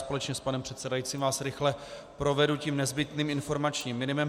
Společně s panem předsedajícím vás rychle provedu nezbytným informačním minimem.